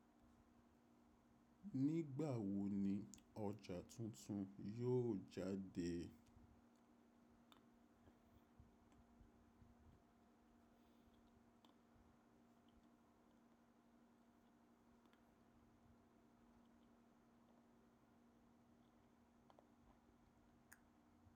Nígbà wo ni ọjà tuntun yóò jáde?